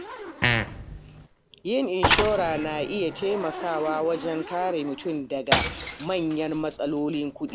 Yin inshora na iya taimakawa wajen kare mutum daga manyan matsalolin kuɗi.